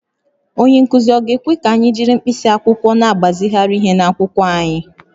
Onye nkụzi ọ̀ ga-ekwe ka anyị jiri mkpịsị akwụkwọ na-agbazigharị ihe n’akwụkwọ anyị?